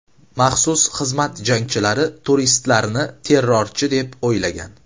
Maxsus xizmat jangchilari turistlarni terrorchi, deb o‘ylagan.